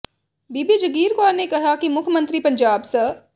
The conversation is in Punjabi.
ਬੀਬੀ ਜਗੀਰ ਕੌਰ ਨੇ ਕਿਹਾ ਕਿ ਮੁੱਖ ਮੰਤਰੀ ਪੰਜਾਬ ਸ